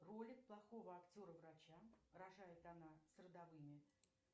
ролик плохого актера врача рожает она с родовыми